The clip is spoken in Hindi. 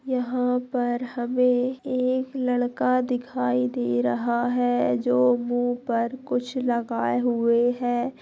यहाँ पर हमें एक लड़का दिखाई दे रहा है जो मुहँ पर कुछ लगाए हुए है।